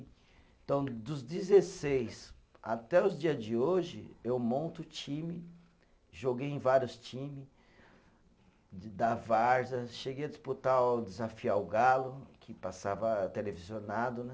Então, dos dezesseis até os dias de hoje, eu monto time, joguei em vários times da várzea, cheguei a disputar, desafiar o Galo, que passava televisionado, né?